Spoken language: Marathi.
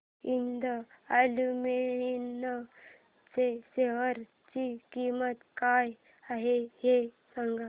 हिंद अॅल्युमिनियम च्या शेअर ची किंमत काय आहे हे सांगा